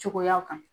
Cogoyaw kan